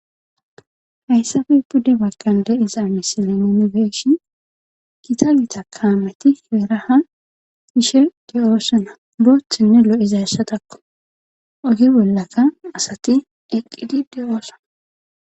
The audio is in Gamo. Haysappe pude bagan de'iza misile nuni beyishin gitta gitta kameti hera ha yishe de'osona bothane lo'izaysako oge bollaka asati eqidi de'osona